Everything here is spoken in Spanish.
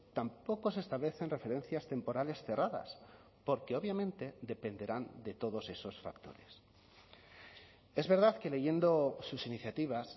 tampoco se establecen referencias temporales cerradas porque obviamente dependerán de todos esos factores es verdad que leyendo sus iniciativas